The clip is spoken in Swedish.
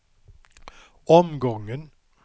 omgången